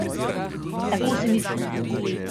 Tako se mi zdi.